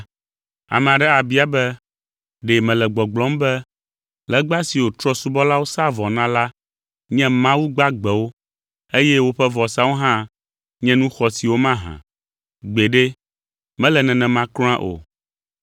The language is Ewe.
Ame aɖe abia be, ɖe mele gbɔgblɔm be legba siwo trɔ̃subɔlawo saa vɔ na la nye Mawu gbagbewo, eye woƒe vɔsawo hã nye nu xɔasiwo mahã? Gbeɖe! Mele nenema kura o.